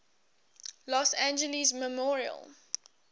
los angeles memorial